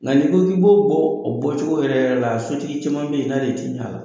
Nka n'i ko k'i bɔ b'o o bɔcogo yɛrɛ la i ni sotigi caman bɛ yen i n'ale tɛ bɛn a la